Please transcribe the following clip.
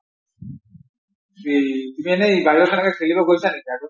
কিন্তু এনেই বাহিৰত সেনেকৈ খলিব গৈছা নেকি আৰু